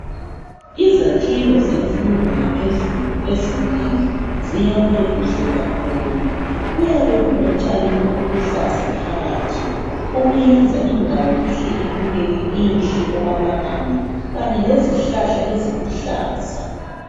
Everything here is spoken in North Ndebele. Izakhiwo zemfundo yaphezulu ezinengi ziyakhwe kuhle kakhulu, kuyabe kulotshani obuluhlaza phakathi. Okuyenza indawo ihle ibukeke inhle okwamagama kanye lezihlahla eziluhlaza.